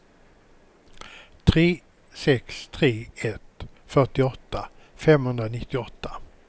tre sex tre ett fyrtioåtta femhundranittioåtta